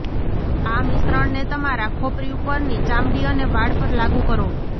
આ મિશ્રણને તમારા ખોપરી ઉપરની ચામડી અને વાળ પર લાગુ કરો